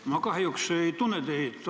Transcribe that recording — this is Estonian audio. Ma kahjuks ei tunne teid.